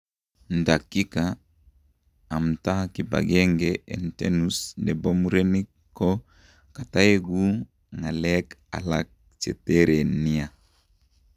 Ndakika amtaa kipagenge en tenus nebo murenik ko kitaekuu ng'akeek alaak chetereen nia.